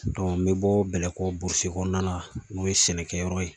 n bɛ bɔ Bɛlɛko burusi kɔnɔna na n'o ye sɛnɛkɛyɔrɔ ye